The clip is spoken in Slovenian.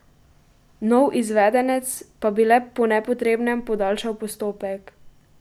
Nov izvedenec pa bi le po nepotrebnem podaljšal postopek.